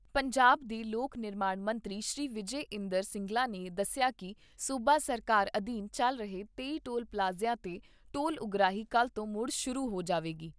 ਪੰਜਾਬ ਦੇ ਲੋਕ ਨਿਰਮਾਣ ਮੰਤਰੀ ਸ੍ਰੀ ਵਿਜੇ ਇੰਦਰ ਸਿੰਗਲਾ ਨੇ ਦੱਸਿਆ ਕਿ ਸੂਬਾ ਸਰਕਾਰ ਅਧੀਨ ਚੱਲ ਰਹੇ ਤੇਈ ਟੋਲ ਪਲਾਜ਼ਿਆਂ 'ਤੇ ਟੋਲ ਉਗਰਾਹੀ ਕੱਲ੍ਹ ਤੋਂ ਮੁੜ ਸ਼ੁਰੂ ਹੋ ਜਾਵੇਗੀ।